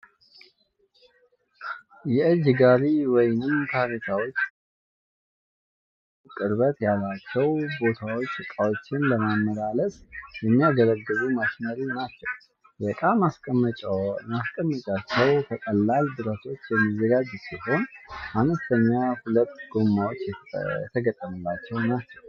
የእጅ ጋሪ ወይንም ካሬታዎች በሰው ጉልበት የሚገፉ ቅርበት ላላቸው ቦታዎች እቃወችን ለማመላለስ የሚያገለግሉ ማሽነሪ ናቸው። የቃ ማስቀመጫቸው ከቀላል ብረቶች የሚዘጋጅ ሲሆን አነስተኛ ሁለት ጎማዎች የተገጠመላቸው ናቸው።